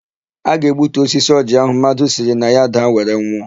A ga-egbutu osisi ọjịị áhụ̀ mmadụ siri na ya daa were nwụọ.